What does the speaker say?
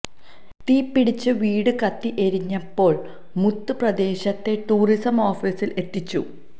തീപിടിച്ച് വീട് കത്തി എരിഞ്ഞപ്പോള് മുത്ത് പ്രദേശത്തെ ടൂറിസം ഓഫീസില് എത്തിച്ചു